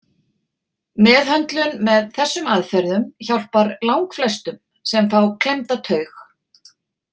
Meðhöndlun með þessum aðferðum hjálpar langflestum sem fá klemmda taug.